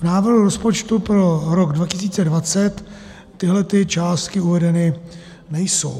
V návrhu rozpočtu pro rok 2020 tyhle částky uvedeny nejsou.